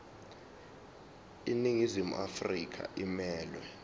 iningizimu afrika emelwe